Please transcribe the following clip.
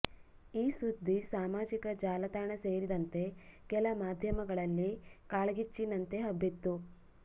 ಈ ಸುದ್ದಿ ಸಾಮಾಜಿಕ ಜಾಲತಾಣ ಸೇರಿದಂತೆ ಕೆಲ ಮಾಧ್ಯಮಗಳಲ್ಲಿ ಕಾಳ್ಗಿಚ್ಚಿನಂತೆ ಹಬ್ಬಿತ್ತು